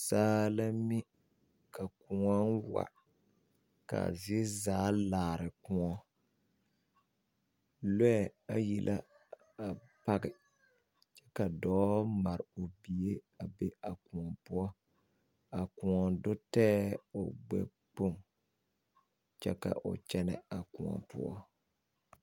Saa la mi ka koɔ wa. Kaa zie zaa laare koɔ. lɔe ayi la a pake ka doɔ mare o bie a be a koɔ poʊ. A koɔ do taɛ o gbɛkpoŋ kyɛ ka o kyenɛ a koɔ poʊ.